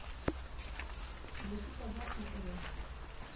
найти казах на тв